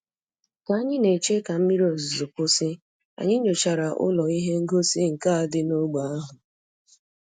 Ka anyị na-eche ka mmiri ozuzo kwụsị, anyị nyochara ụlọ ihe ngosi nka dị n'ógbè ahụ